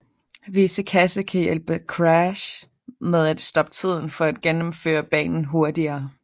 Visse kasser kan hjælpe Crash med at stoppe tiden for at gennemføre banen hurtigere